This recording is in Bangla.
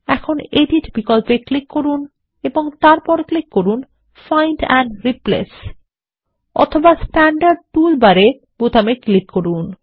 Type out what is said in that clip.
এখন এডিট বিকল্পে ক্লিক করুন এবং তারপর ক্লিক করুন ফাইন্ড এন্ড রিপ্লেস অথবা স্ট্যান্ডার্ড টুল বারে বোতামে ক্লিক করুন